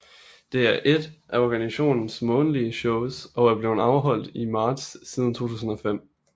Det er ét af organisationens månedlige shows og er blevet afholdt i marts siden 2005